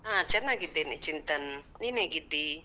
ಹ ಚನ್ನಾಗಿದ್ದೇನೆ ಚಿಂತನ್, ನೀನ್ ಹೇಗಿದ್ದಿ?